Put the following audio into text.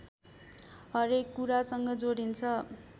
हरेक कुरासँग जोडिन्छ